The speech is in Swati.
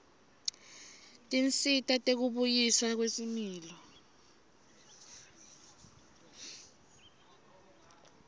tinsita tekubuyiswa kwesimilo